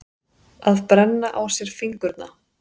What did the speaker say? Að brenna á sér fingurna